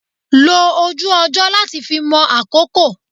Lo ojú ọjọ́ láti fi mọ àkókò.